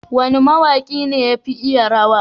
wane ma waki ne yafi iya rawa?